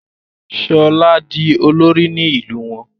Shola dì olori ní ilú wón